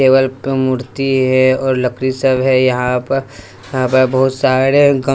table प मूर्ति है और लकड़ी सब है यहां प यहां प बहुत सारे--